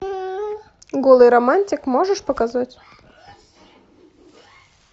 голый романтик можешь показать